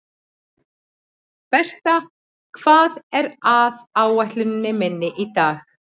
Berta, hvað er á áætluninni minni í dag?